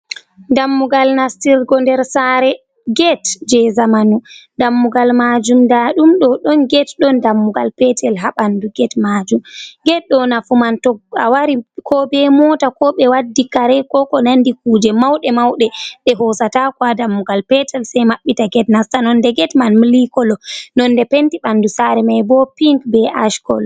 Dammugal nastirgo nder saare get je zamanu dammugal majum nda ɗum do don get don dammugal petel ha bandu get majum get do nafu man to a wari ko be mota ko be waddi kare ko ko nandi kuje mauɗe mauɗe be hosatako wa dammugal petel sai mabbita get nasta nonde get man milikolo nonde penti ɓandu saare mai bo pinc be ashkolo.